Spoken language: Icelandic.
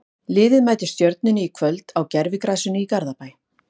Liðið mætir Stjörnunni í kvöld á gervigrasinu í Garðabæ.